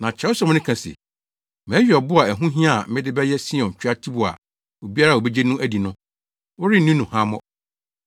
Na Kyerɛwsɛm no ka se, “Mayi ɔbo a ɛho hia a mede bɛyɛ Sion tweatibo a obiara a obegye no adi no, wɔrenni no nhuammɔ.”